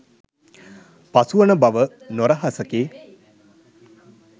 පසුවන බව නොරහසකි.